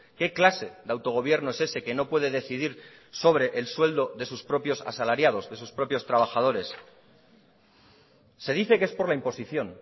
qué clase de autogobierno es ese que no puede decidir sobre el sueldo de sus propios asalariados de sus propios trabajadores se dice que es por la imposición